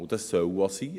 Dies soll auch sein.